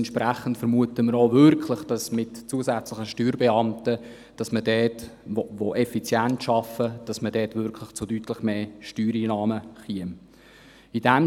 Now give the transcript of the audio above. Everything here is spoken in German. Entsprechend vermuten wir auch, dass man mit zusätzlichen Steuerbeamten, die effizient arbeiten, wirklich zu deutlich mehr Steuereinnahmen käme.